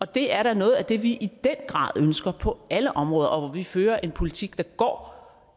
det er da noget af det vi i den grad ønsker på alle områder og hvor vi fører en politik der går